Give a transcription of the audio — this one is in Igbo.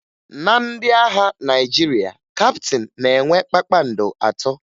Na ndị agha Naịjirịa, kaptịn na-enwe kpakpando atọ